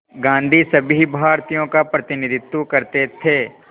गांधी सभी भारतीयों का प्रतिनिधित्व करते थे